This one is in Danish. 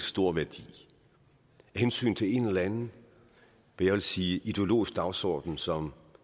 stor værdi af hensyn til en eller anden jeg vil sige ideologisk dagsorden som